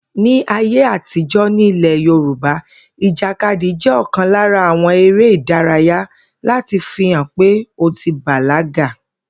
Ní ayé àtijó̩ nílè̩ Yorùbá, ìjàkadì jé̩ ò̩kan lára àwo̩n eré ìdárayá láti fi hàn pé ó ti bàlágà